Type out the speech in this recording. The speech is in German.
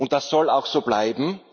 Das soll auch so bleiben.